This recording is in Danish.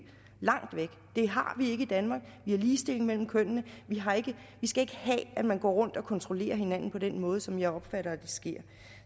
langt væk det har vi ikke i danmark vi har ligestilling mellem kønnene vi skal ikke have at man går rundt og kontrollerer hinanden på den måde som jeg opfatter at det sker